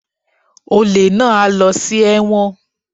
Olè náà á lọ sí ẹ̀wọ̀n